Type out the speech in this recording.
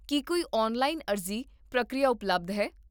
ਕੀ ਕੋਈ ਔਨਲਾਈਨ ਅਰਜ਼ੀ ਪ੍ਰਕਿਰਿਆ ਉਪਲਬਧ ਹੈ?